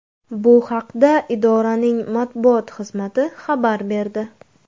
Bu haqda idoraning matbuot xizmati xabar berdi .